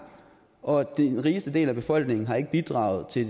og at den rigeste del af befolkningen ikke har bidraget til